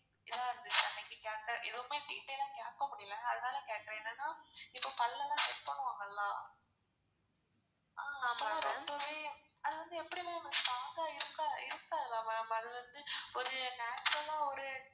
இதா இருந்துச்சி அன்னைக்கு எதுமே detail ஆ கேக்க முடில அதனால கேக்குறேன் என்னனா இப்போ பல்ல லாம் check பண்ணுவாங்க ல அப்போ ரொம்பவே அது வந்து எப்டி ma'am strong இருக்காதா ma'am அது வந்து ஒரு natural ஆ ஒரு.